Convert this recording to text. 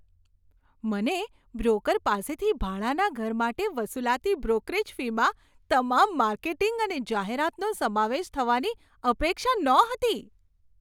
મને બ્રોકર પાસેથી ભાડાના ઘર માટે વસૂલાતી બ્રોકરેજ ફીમાં તમામ માર્કેટિંગ અને જાહેરાતનો સમાવેશ થવાની અપેક્ષા નહોતી.